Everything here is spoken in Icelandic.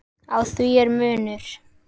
Á því er munur.